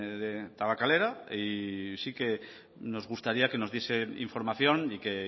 de tabakalera y sí que nos gustaría que nos diese información y que